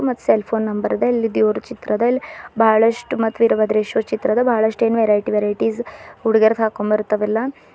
ಮತ್ cell phone number ಅದ ಇಲ್ ದೇವ್ರ್ ಚಿತ್ರದ ಅದ ಇಲ್ ಬಾಳಷ್ಟು ಮತ್ತು ವೀರಭದ್ರೇಶ್ವರ ಚಿತ್ರ ಅದ ಬಹಳಷ್ಟೇನ್ ವೆರೈಟಿ ವೆರೈಟ್ಸ್ ಹುಡುಗಿಯರ ಹಾಕೊಂಡ್ ಬರ್ತಾವಲ್ಲ.